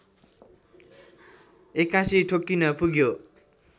एक्कासि ठोकिन पुग्यो